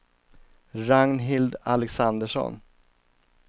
Ragnhild Alexandersson